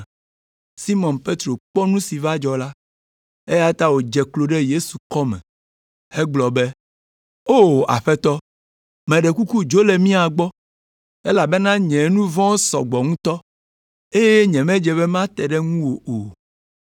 Simɔn Petro kpɔ nu si va dzɔ la, eya ta wòdze klo ɖe Yesu kɔme hegblɔ be, “O, Aƒetɔ, meɖe kuku dzo le mía gbɔ, elabena nye nu vɔ̃wo sɔ gbɔ ŋutɔ, eye nyemedze be mate ɖe ŋuwò o.”